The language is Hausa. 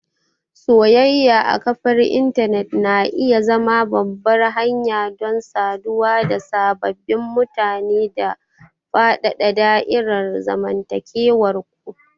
Soyayya a kafar intanet na iya zama babbar hanya don saduwa da sababbin mutane da faɗaɗa da'irar zamantakewar ku.